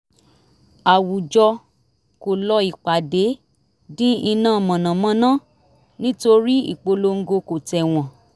àwùjọ kò lọ ìpàdé dín iná mànàmáná nítorí ìpolongo kò tẹ̀wọ̀n